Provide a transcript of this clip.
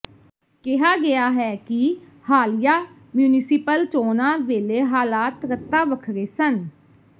ਕਿਹਾ ਗਿਆ ਹੈ ਕਿ ਹਾਲੀਆ ਮਿਉਂਸਿਪਲ ਚੋਣਾਂ ਵੇਲੇ ਹਾਲਾਤ ਰਤਾ ਵੱਖਰੇ ਸਨ